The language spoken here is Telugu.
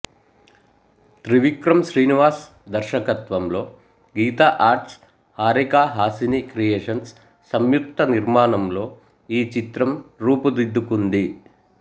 త్రివిక్రమ్ శ్రీనివాస్ దర్శకత్వంలో గీతా ఆర్ట్స్హారిక హాసిని క్రియేషన్స్ సంయుక్త నిర్మాణంలో ఈ చిత్రం రూపుదిద్దుకొంది